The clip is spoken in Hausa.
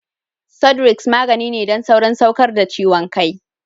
Sudrex magani ne don saurin saukar da ciwon kai.